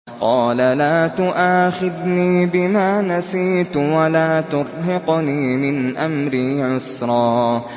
قَالَ لَا تُؤَاخِذْنِي بِمَا نَسِيتُ وَلَا تُرْهِقْنِي مِنْ أَمْرِي عُسْرًا